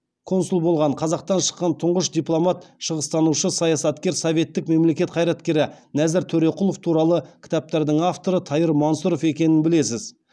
консул болған қазақтан шыққан тұңғыш дипломат шығыстанушы саясаткер советтік мемлекет қайраткері нәзір төреқұлов туралы кітаптардың авторы тайыр мансұров екенін білесіз